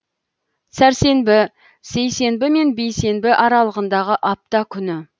сәрсенбі сейсенбі мен бейсенбі аралығындағы апта күні